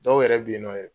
Dɔw yɛrɛ bɛ yen nɔ yɛrɛ